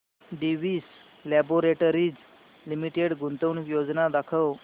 Divi's laboratories limited गुंतवणूक योजना दाखव